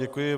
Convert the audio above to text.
Děkuji.